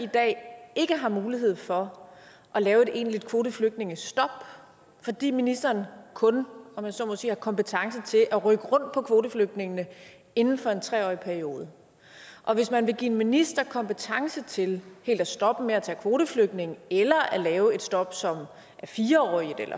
i dag ikke har mulighed for at lave et egentligt kvoteflygtningestop fordi ministeren kun om jeg så må sige har kompetence til at rykke rundt på kvoteflygtningene inden for en tre årig periode og at hvis man vil give en minister kompetence til helt at stoppe med at tage kvoteflygtninge eller at lave et stop som er fire årig